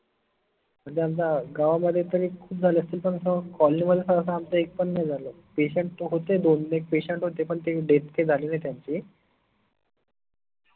गावामध्ये पन एक खूप झाले असतील पन असं colony मध्ये सहसा आमच्या एक पन नाही झालो patient होते दोनएक patient होते पन ते death काही झाली नाई त्यांच्या